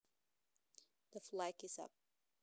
The flag is up